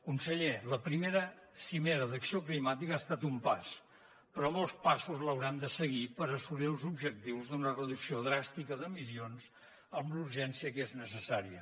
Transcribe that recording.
conseller la primera cimera d’acció climàtica ha estat un pas però molts passos l’hauran de seguir per assolir els objectius d’una reducció dràstica d’emissions amb la urgència que és necessària